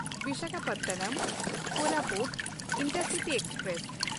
ᱵᱤᱥᱟᱠᱷᱟᱯᱚᱴᱱᱚᱢ–ᱠᱳᱨᱟᱯᱩᱴ intercity express